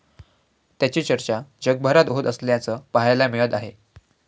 त्याची चर्चा जगभरात होत असल्याचं पाहायला मिळत आहे.